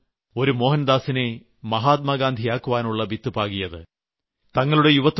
ആ സംഭവമാണ് ഒരു മോഹൻദാസിനെ മഹാത്മാഗാന്ധിയാക്കുവാനുള്ള വിത്ത് പാകിയത്